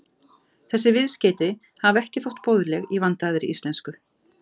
Þessi viðskeyti hafa ekki þótt boðleg í vandaðri íslensku.